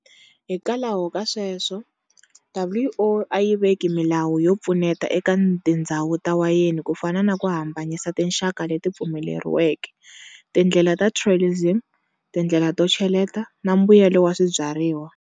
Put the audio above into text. Hikwalaho ka sweswo, WO ayi veki milawu yo pfuneta eka tindzhawu ta wayeni kufana naku hambanyisa tinxaka leti pfumeleriweke, tindlela ta trellising, tindlela to cheleta, na mbuyelo wa swibyariwa.